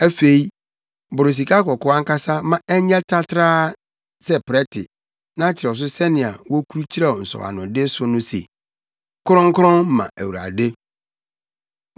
“Afei, boro sikakɔkɔɔ ankasa ma ɛnyɛ tratraa sɛ prɛte na kyerɛw so sɛnea wokurukyerɛw nsɔwanode so no se: Kronkron Ma Awurade.